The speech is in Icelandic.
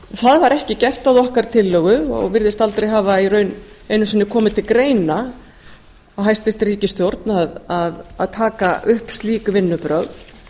það var ekki gert að okkar tillögu og virðist aldar hafa í raun einu sinni komið til greina hjá hæstvirtri ríkisstjórn að taka upp slík vinnubrögð